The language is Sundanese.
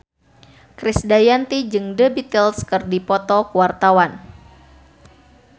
Krisdayanti jeung The Beatles keur dipoto ku wartawan